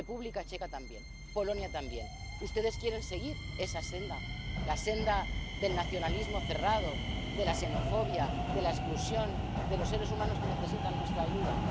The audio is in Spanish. del pacto. República Checa también. Polonia también. ¿Ustedes quieren seguir esa senda? La senda del nacionalismo cerrado, de la xenofobia, de la exclusión de los seres humanos que necesitan